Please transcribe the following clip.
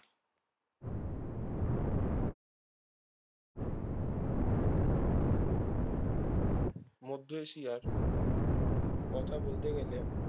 মদ্ধ এশিয়ার কথা বলতে গেলে